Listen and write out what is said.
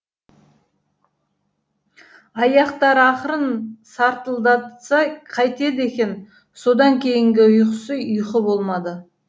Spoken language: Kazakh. аяқтары ақырын сартылдатса қайтеді екен содан кейінгі ұйқысы ұйқы болмады